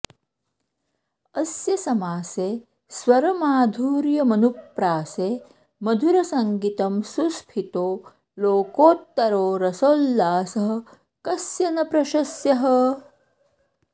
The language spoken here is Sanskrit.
अस्य समासे स्वरमाधुर्यमनुप्रासे मुधरसङ्गीतं सुस्फीतो लोकोत्तरो रसोल्लासः कस्य न प्रशस्यः